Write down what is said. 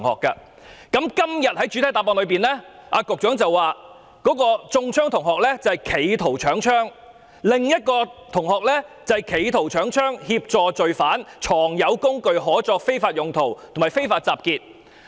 局長在主體答覆指出，中槍的同學涉嫌"企圖搶槍"，另一位同學則涉嫌"企圖搶槍"、"協助罪犯"、"藏有工具可作非法用途"及"非法集結"。